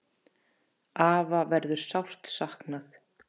Afa verður sárt saknað.